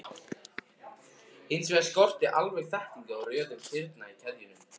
Hins vegar skorti alveg þekkingu á röðun kirna í keðjunum.